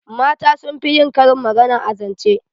Mata sun fi yin karin magana a zance